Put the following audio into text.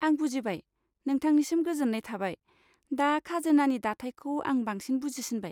आं बुजिबाय, नोंथांनिसिम गोजोन्नाय थाबाय, दा खाजोनानि दाथायखौ आं बांसिन बुजिसिनबाय।